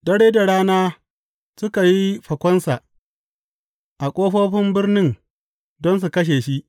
Dare da rana suka yi fakonsa a ƙofofin birnin don su kashe shi.